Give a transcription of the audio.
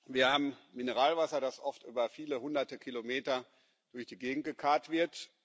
Wir haben Mineralwasser, das oft über viele hunderte Kilometer durch die Gegend gekarrt wird.